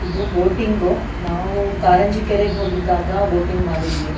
ಇದು ಬೋಟಿಂಗ್ ನಾವು ಕಾರಂಜಿ ಕೆರೆಗೆ ಹೋಗಿದ್ದಾಗ ಬೋಟಿಂಗ್ ಮಾಡಿದ್ವಿ.